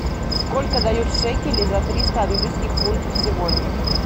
сколько дают шекелей за триста английских фунтов сегодня